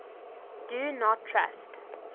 do not trust